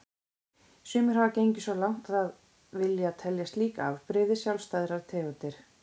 Sumir hafa gengið svo langt að vilja telja slík afbrigði sjálfstæðar tegundir.